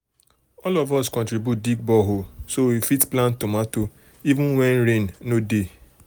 all of us contribute dig borehole so we fit plant tomato even when rain no dey.